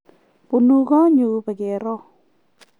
bunu kotnyu pikeero